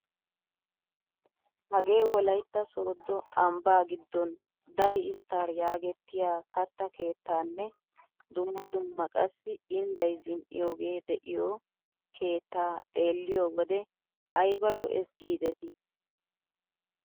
hagee wolaytta sooddo ambbaa giddon dayi isttar yaagettiyaa kattaa keettaanne dumma dumma qassi indday zin"iyoogee de'iyoo keettaa xeelliyoo wode aybe lo"ees gidetii!